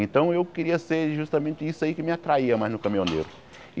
Então eu queria ser justamente isso aí que me atraía mais no caminhoneiro.